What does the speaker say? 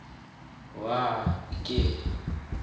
wa l khe